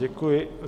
Děkuji.